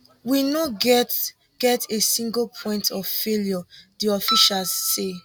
we no get get a single point of failure di officials say